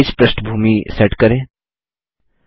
page पृष्ठभूमिबैकग्राउंड set करें